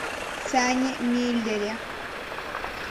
сане миллере